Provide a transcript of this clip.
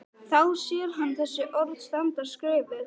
Þá sér hann þessi orð standa skrifuð: